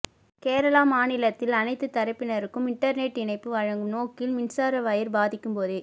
கேரள மாநிலத்தில் அனைத்துத் தரப்பினருக்கும் இண்டர்நெட் இணைப்பு வழங்கும் நோக்கில் மின்சார வயர் பதிக்கும் போதே